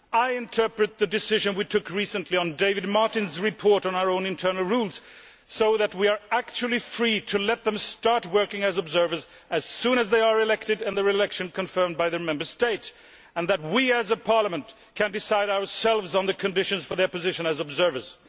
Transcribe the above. I interpret the decision we took recently on David Martin's report on our own internal rules so that we are actually free to let them start working as observers as soon as they are elected and their election confirmed by their Member State, and that we as a parliament can decide ourselves on the conditions for their position as observers.